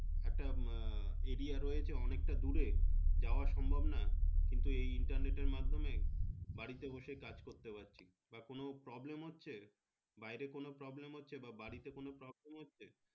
একটা area রয়েছে অনেকটা দূরে যাওয়া সম্ভব না কিন্তু এই internet এর মাধ্যমে বাড়িতে বসে কাজ করতে পাচ্ছি বা কোনো problem হচ্ছে বাইরে কোনো problem হচ্ছে বা বাড়িতে কোনো problem হচ্ছে